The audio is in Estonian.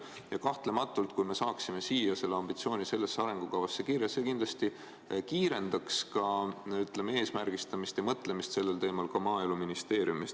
Ja kahtlemata, kui me saaksime selle ambitsiooni arengukavasse kirja, see kindlasti kiirendaks eesmärgistamist ja mõtlemist sellel teemal ka Maaeluministeeriumis.